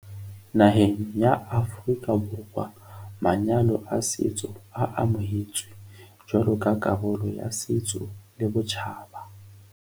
Naheng ya Aforika Borwa manyalo a setso a amohetswe jwalo ka karolo ya setso le botjhaba.